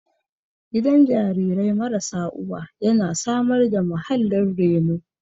Gidan jarirai marasa uwa yana samar da muhallin reno